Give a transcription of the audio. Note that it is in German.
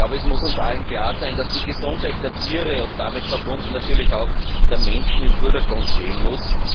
Es muss uns allen klar sein, dass die Gesundheit der Tiere und damit verbunden natürlich auch der Menschen im Vordergrund stehen muss.